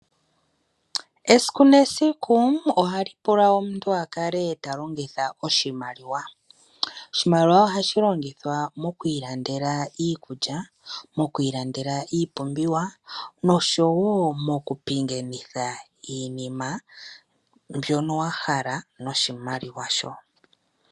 Esiku nesiku ohali pula omuntu a kale talongitha oshimaliwa. Oshimaliwa ohashi longithwa mokwiilandela iikulya, iipumbiwa, noshowo mokupingenitha iinima mbyono wahala, noshimaliwa shono.